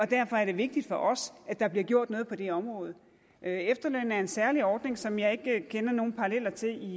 derfor er det vigtigt for os at der bliver gjort noget på det område efterlønnen er en særlig ordning som jeg ikke kender nogen paralleller til